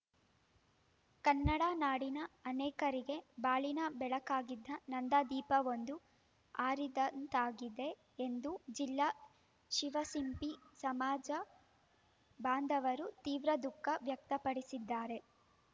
ಕನ್ನಡ ನಾಡಿನ ಅನೇಕರಿಗೆ ಬಾಳಿನ ಬೆಳಕಾಗಿದ್ದ ನಂದಾ ದೀಪವೊಂದು ಆರಿದಂತಾಗಿದೆ ಎಂದು ಜಿಲ್ಲಾ ಶಿವಸಿಂಪಿ ಸಮಾಜ ಬಾಂಧವರು ತೀವ್ರ ದುಃಖ ವ್ಯಕ್ತಪಡಿಸಿದ್ದಾರೆ